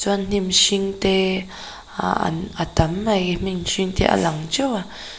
chuan hnim hringte ah an a tam mai hnim hringte te a lang teuh a.